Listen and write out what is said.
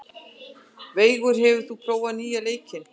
Veigur, hefur þú prófað nýja leikinn?